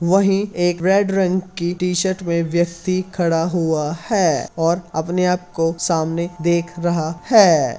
वहीं एक रेड रंग की टी शर्ट में व्यक्ति खड़ा हुआ है और अपने आप को सामने देख रहा है।